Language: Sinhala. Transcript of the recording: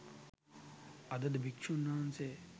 අදද භික්ෂූන් වහන්සේ